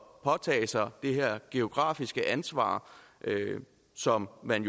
påtage sig det her geografiske ansvar som man